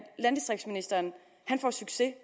landdistriktsministeren får succes